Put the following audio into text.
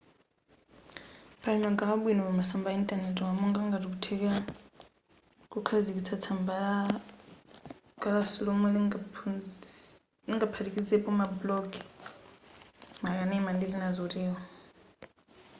pali magawo abwino pamasamba a intanetiwa monga ngati kuthekera kukhazikitsa tsamba la kalasi lomwe lingaphatikizepo ma blogs makanema ndi zina zotero